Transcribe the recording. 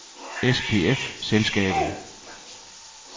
SPF-Selskabet